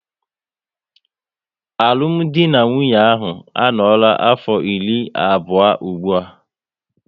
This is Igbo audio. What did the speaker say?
Alụmdi na nwunye ha a noora afọ iri abụọ ụgbụa